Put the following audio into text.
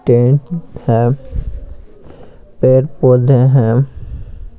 Tent है पैड पौधे है।